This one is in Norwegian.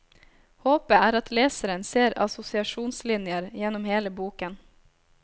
Håpet er at leseren ser assosiasjonslinjer gjennom hele boken.